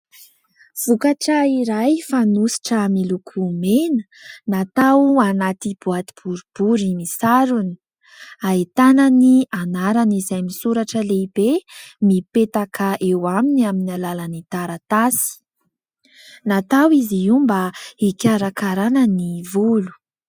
Vokatra iray fanosotra miloko mena. Natao anaty boaty boribory misarona. Ahitana ny anarany izay misoratra lehibe, mipetaka eo aminy amin'ny alalan'ny taratasy. Natao izy io mba hikarakaràna ny volo.